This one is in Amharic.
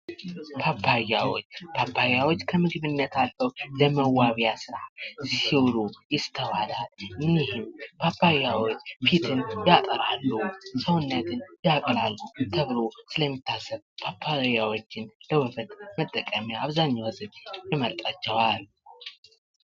ፓፓዮች ፓፓዮች ከምግብነት አልፈው ለመዋቢያ ስራ ሲውሉ ይስተዋላል እንይም ፊትን ያጠራሉ። ሰውነትን ያቀላሉ ተብሎ ስለሚታሰብ ፓፓያወችን ለውበት መጠቀሚያ አብዛኛው ሴት ይመርጣቸዋል።